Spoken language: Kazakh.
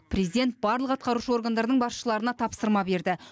президент барлық атқарушы органдардың басшыларына тапсырма берді